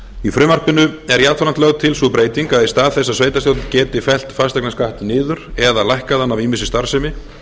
í frumvarpinu er jafnframt lögð til sú breyting að í stað þess að sveitarstjórn geti fellt fasteignaskatt niður eða lækkað hann af ýmissi starfsemi